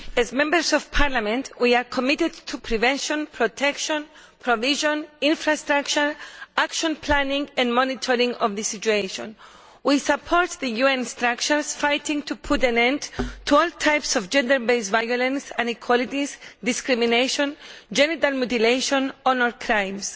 As Members of Parliament we are committed to prevention, protection, provision of infrastructure, action planning and monitoring of this situation. We support the UN structures fighting to put to an end to all types of gender based violence and inequalities, discrimination, genital mutilation and honour crimes.